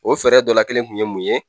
O fɛɛrɛ dɔ la kelen kun ye mun ye?